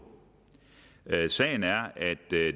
sagen er at det